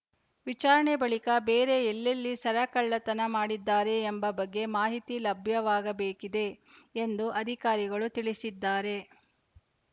ವಿಚಾರಣೆ ಬಳಿಕ ಬೇರೆ ಎಲ್ಲೆಲ್ಲಿ ಸರ ಕಳ್ಳತನ ಮಾಡಿದ್ದಾರೆ ಎಂಬ ಬಗ್ಗೆ ಮಾಹಿತಿ ಲಭ್ಯವಾಗಬೇಕಿದೆ ಎಂದು ಅಧಿಕಾರಿಗಳು ತಿಳಿಸಿದ್ದಾರೆ